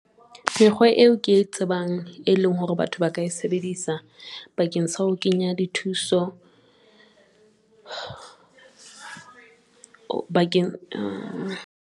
Mekgwa eo ke e tsebang, e leng hore batho ba ka sebedisa bakeng sa ho kenya di thuso bakeng.